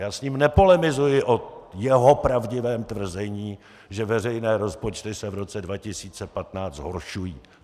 Já s ním nepolemizuji o jeho pravdivém tvrzení, že veřejné rozpočty se v roce 2015 zhoršují.